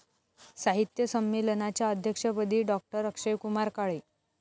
साहित्य संमेलनाच्या अध्यक्षपदी डॉ.अक्षयकुमार काळे